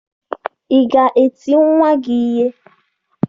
Ị ga-eti nwa gị ihe?